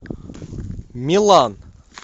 милан